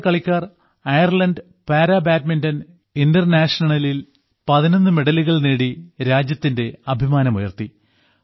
നമ്മുടെ കളിക്കാർ Ireland para badminton ഇന്റർ നാഷണലിൽ 11 മെഡലുകൾ നേടി രാജ്യത്തിന്റെ അഭിമാനമുയർത്തി